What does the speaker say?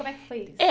Como é que foi isso?